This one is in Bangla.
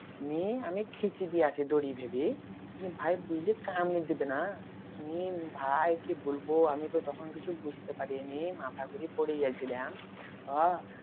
নিয়ে আমি খিচে দিয়েছি দড়ি ভেবে নিয়ে ভাই বুঝলি কামড়ে দেবে না নিয়ে ভাই কি বলবো আমি তো তখন কিছু বুঝতে পারিনি মাথা ঘুরে পড়েজেল্ছিলাম